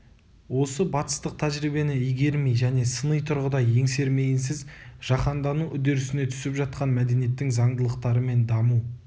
осы батыстық тәжірибені игермей және сыни тұрғыда еңсермейінсіз жаһандану үдерісіне түсіп жатқан мәдениеттің заңдылықтары мен даму